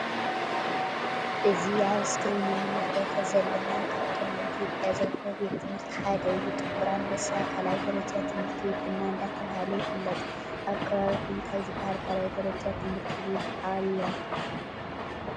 እዚ አብ እስክሪን እንምልከቶ ዘለና ካብቶም አብ ኢትዮጵያ ዝርከቡ ቤት ትምህርቲ ሓደ እዩ:: ጥቁር አንበሳ ካልአይ ደረጃ ትምህርት ቤት ድማ ዳተብሃለ ይፍለጥ::አብ ከባቢኩም ታይ ዝበሃል ካልአይ ደረጃ ትምህርት ቤት አሎ?